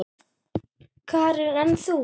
Karen: En þú?